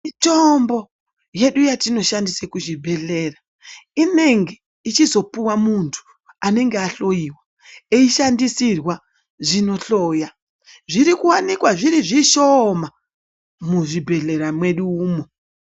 Mitombo yedu yetinoshandisa kuzvibhendlera inenge ichizopuwa muntu anenge ahloiwa eishandisirwa zvinohloya. Zviri kuwanikwa zviri zvishooma muzvibhedhlera mwedu umwo.